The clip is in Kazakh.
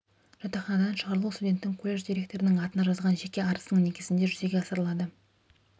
жатақханадан шығарылу студенттің колледж директорының атына жазған жеке арызының негізінде жүзеге асырылады